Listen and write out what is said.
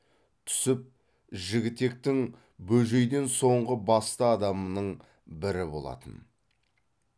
түсіп жігітектің бөжейден соңғы басты адамының бірі болатын